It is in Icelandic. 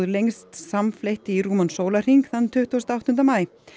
lengst samfleytt í rúman sólarhring þann tuttugasta og áttunda maí